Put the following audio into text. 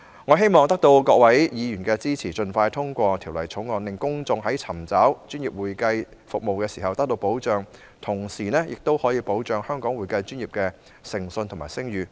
我希望得到各位議員支持，盡快通過《條例草案》，令公眾尋找專業會計服務時得到保障，同時，亦可保障香港會計專業的誠信和聲譽。